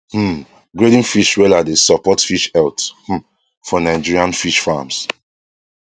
um grading fish wella dey support fish health um for nigerian fish farms